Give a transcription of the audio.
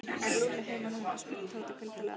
Er Lúlli heima núna? spurði Tóti kuldalega.